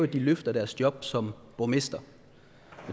de løfter deres job som borgmester